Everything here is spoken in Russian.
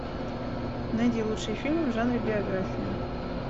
найди лучший фильм в жанре биография